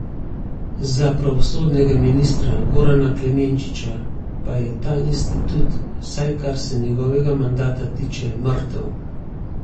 Za pravosodnega ministra Gorana Klemenčiča pa je ta institut, vsaj kar se njegovega mandata tiče, mrtev.